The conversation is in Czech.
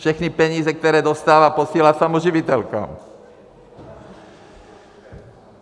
Všechny peníze, které dostává, posílá samoživitelkám.